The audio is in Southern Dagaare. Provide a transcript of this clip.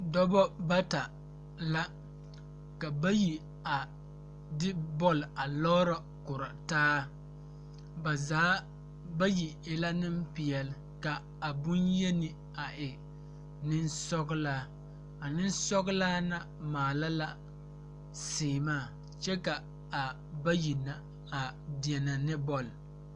Dɔbɔ bata la ka bayi a de bɔl a lɔɔrɔ korɔ taa ba zaa bayi e la neŋpeɛle ka bon yeni a e neŋsɔglaa a neŋsɔglaa na maala la sèèmaa kyɛ ka a bayi na a deɛnɛ ne bɔl.